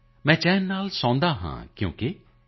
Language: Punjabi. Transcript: ਮੈਂ ਚੈਨ ਸੇ ਸੋਤਾ ਹੂੰ ਕਿਉਂਕਿ